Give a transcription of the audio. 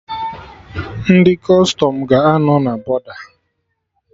Ndị Kọstọm ga-anọ na bọda